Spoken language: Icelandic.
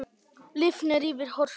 Lifnar yfir Hörpu